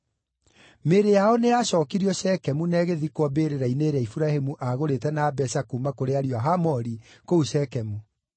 Mĩĩrĩ yao nĩyacookirio Shekemu na ĩgĩthikwo mbĩrĩra-inĩ ĩrĩa Iburahĩmu aagũrĩte na mbeeca kuuma kũrĩ ariũ a Hamori kũu Shekemu.